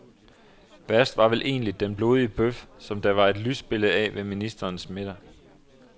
Værst var vel egentlig den blodige bøf, som der var et lysbillede af ved ministerens middag.